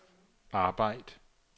arbejd